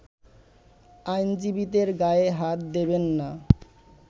আইনজীবীদের গায়ে হাত দিবেন না